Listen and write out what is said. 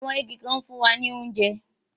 Àwọn igi kan ń fún wa ní oúnjẹ